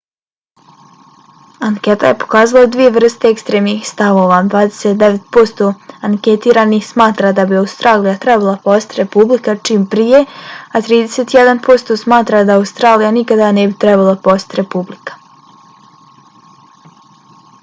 anketa je pokazala dvije vrste ekstremnih stavova: 29 posto anketiranih smatra da bi australija trebala postati republika čim prije a 31 posto smatra da australija nikada ne bi trebala postati republika